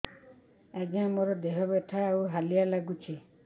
ଆଜ୍ଞା ମୋର ଦେହ ବଥା ଆଉ ହାଲିଆ ଲାଗୁଚି